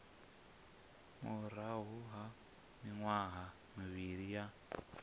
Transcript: murahu ha miṅwaha mivhili ya